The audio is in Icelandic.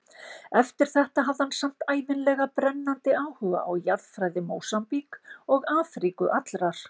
Eftir þetta hafði hann samt ævinlega brennandi áhuga á jarðfræði Mósambík og Afríku allrar.